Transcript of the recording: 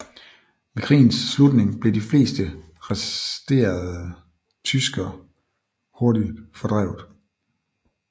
Ved krigens slutning blev de fleste resterede tyskere hurtigt fordrevet